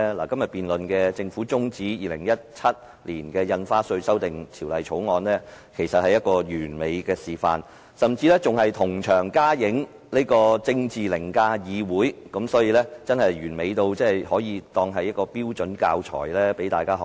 今天就政府中止審議《2017年印花稅條例草案》進行的辯論，便是一個完美示範，甚至同場加映政治凌駕議會，完美到可作標準教材，讓大家學習。